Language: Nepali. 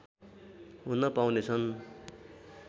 हुन पाउनेछन्